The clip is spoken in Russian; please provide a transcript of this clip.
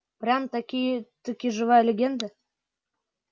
прям-таки таки живая легенда